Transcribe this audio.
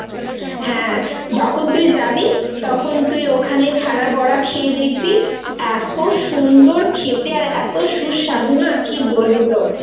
হ্যা যখন তুই যাবি তখন তুই ওখানে ছানার বড়া খেয়ে দেখবি এত সুন্দর খেতে আর এটো সুস্বাদু না কি বলব তোর.